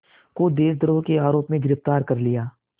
को देशद्रोह के आरोप में गिरफ़्तार कर लिया